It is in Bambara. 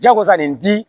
Jagosa nin di